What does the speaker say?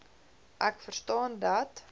ek verstaan dat